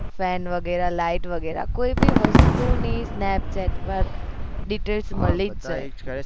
friends વગેરે light વગેરા કોઈ બી વસ્તુ ની snapchat બસ details મળી જ જાય